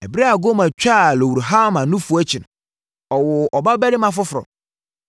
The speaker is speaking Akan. Ɛberɛ a Gomer twaa Lo-ruhama nufoɔ akyi no, ɔwoo ɔba barima foforɔ.